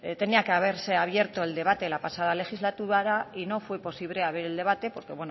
tenía que haberse abierto el debate la pasada legislatura y no fue posible abrir el debate porque